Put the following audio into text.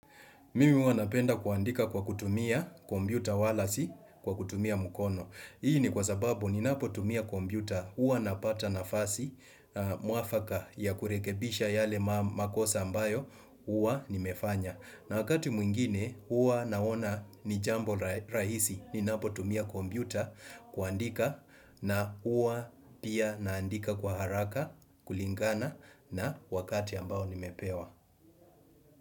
Mimi huwa napenda kuandika kwa kutumia kombyuta wala si kwa kutumia mkono. Hii ni kwa sababu ninapotumia kombyuta huwa napata nafasi mwafaka ya kurekebisha yale makosa ambayo huwa nimefanya. Na wakati mwingine huwa naona ni jambo rahisi ninapotumia kombyuta kuandika na ua pia naandika kwa haraka kulingana na wakati ambao nimepewa.